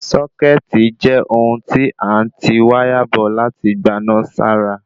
Sọ́kẹ̀tì jẹ́ ohun tí a n ti wáyà bọ̀ láti gbaná sára